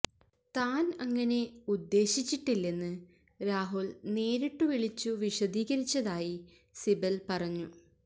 താൻ അങ്ങനെ ഉദ്ദേശിച്ചിട്ടില്ലെന്ന് രാഹുൽ നേരിട്ടു വിളിച്ചു വിശദീകരിച്ചതായി സിബൽ പറഞ്ഞു